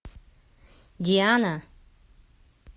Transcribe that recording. диана